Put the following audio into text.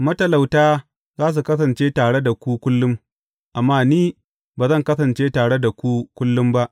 Matalauta za su kasance tare da ku kullum, amma ni ba zan kasance tare da ku kullum ba.